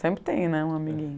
Sempre tem, né um amiguinho.